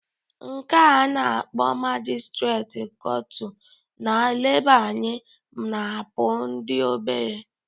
Nke a na-akpọ majistreti kọtụ na-elebanya na mpụ dị obere